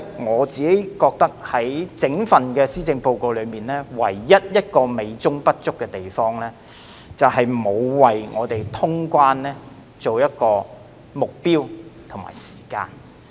我認為整份施政報告唯一美中不足之處，就是沒有為通關訂下目標和時間。